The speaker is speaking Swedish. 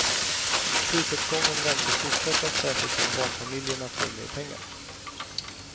Prisuppgången väntas fortsätta, särskilt om barnfamiljerna får mer pengar.